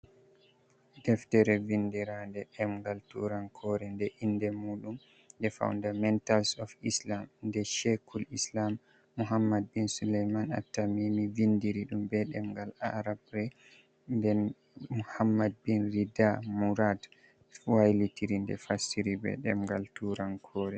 Deftere vindiranɗe ɗemgal turankore nde inde mudum 'The fundamentals of Islam' nde Shekul Islam Muhammad Bin Suleman At-tamimi vindiri ɗum be ɗemgal arabra de Muhammad Bin Ridha Murad wailitiri nde fastiri be ɗemgal turankore.